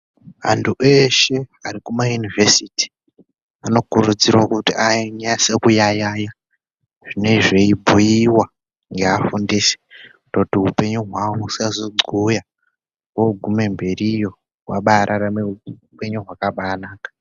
Antu eshe arikumayuniversity, anokurudzirwa kuti anyaso kuyayaya zvinezviyibhuyiwa neafundisi kutoti hupenyu hwawo usazo gcoya ,ogume mberiyo wabararame hupenyu hwakabanaka.